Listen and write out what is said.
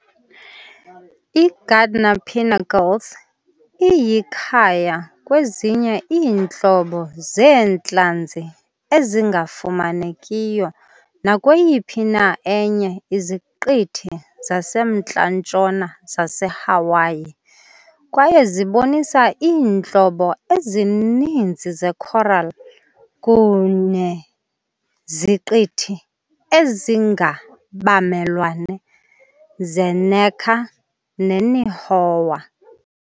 I-Gardner Pinnacles iyikhaya kwezinye iintlobo zeentlanzi ezingafumanekiyo nakweyiphi na enye iZiqithi zaseMntla-ntshona zaseHawaii, kwaye zibonisa iintlobo ezininzi ze-coral kuneziqithi ezingabamelwane ze- Necker ne -Nihoa .